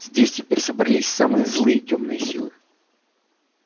здесь теперь собрались самые злые тёмные силы